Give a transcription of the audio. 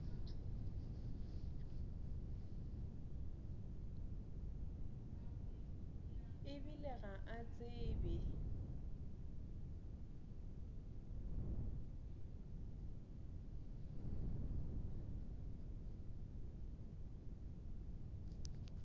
e bile ga a tsebe